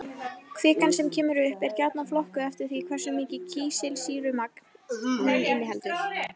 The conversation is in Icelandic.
Kvikan sem kemur upp er gjarnan flokkuð eftir því hversu mikið kísilsýrumagn hún inniheldur.